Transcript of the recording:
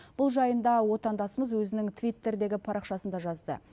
бұл жайында отандасымыз өзінің твиттердегі парақшасында жазды